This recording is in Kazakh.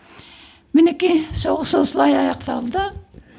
мінекей соғыс осылай аяқталды